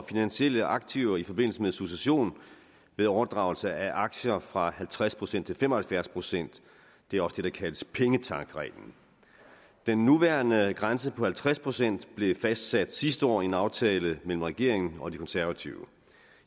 finansielle aktiver i forbindelse med succession ved overdragelse af aktier fra halvtreds procent til fem og halvfjerds procent det er også det der kaldes pengetanksreglen den nuværende grænse på halvtreds procent blev fastsat sidste år i en aftale mellem regeringen og de konservative